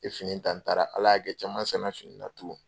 N ye fini ta n taara Ala y'a kɛ caman san na fini in na tugun.